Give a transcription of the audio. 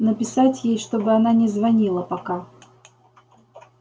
написать ей чтобы она не звонила пока